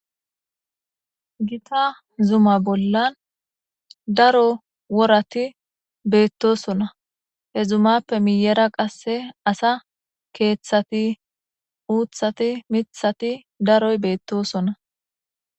Gitta zuma bollan daro woorati beettosona he zumappe miyera qase asa keeththati uuththati miiththati daroy beettosona